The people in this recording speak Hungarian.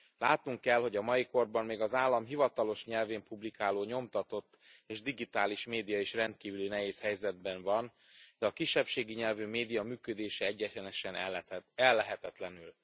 Látnunk kell, hogy a mai korban még az állam hivatalos nyelvén publikáló nyomtatott és digitális média is rendkívüli nehéz helyzetben van, de a kisebbségi nyelvű média működése egyenesen ellehetetlenül.